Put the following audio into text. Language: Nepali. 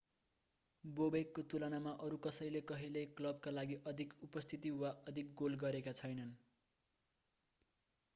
बोबेकको तुलनामा अरू कसैले कहिल्यै क्लबका लागि अधिक उपस्थिति वा अधिक गोल गरेका छैनन्